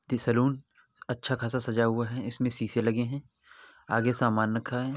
-- Saloon अच्छा-ख़ासा सजा हुआ है इसमें शीशे लगे हैं आगे सामान रखा है।